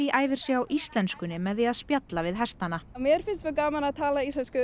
æfir sig í íslenskunni með því að spjalla við hestana mér finnst mjög gaman að tala íslensku